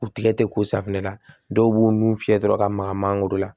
U tigɛ tɛ ko safunɛ la dɔw b'u nun fiyɛ dɔrɔn ka maga mangoro la